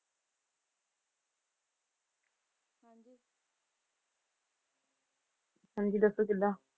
ਹਾਂਜੀ ਦੱਸੋ ਕਿੱਦਾਂ?